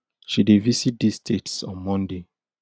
she dey visit dis states on monday